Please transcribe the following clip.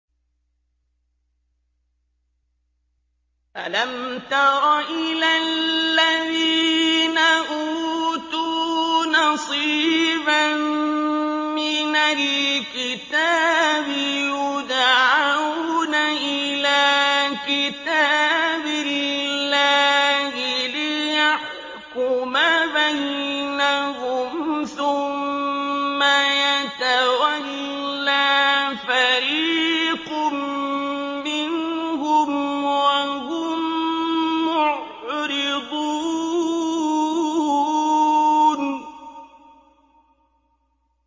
أَلَمْ تَرَ إِلَى الَّذِينَ أُوتُوا نَصِيبًا مِّنَ الْكِتَابِ يُدْعَوْنَ إِلَىٰ كِتَابِ اللَّهِ لِيَحْكُمَ بَيْنَهُمْ ثُمَّ يَتَوَلَّىٰ فَرِيقٌ مِّنْهُمْ وَهُم مُّعْرِضُونَ